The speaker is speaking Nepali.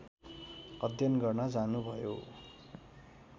अध्ययन गर्न जानुभयो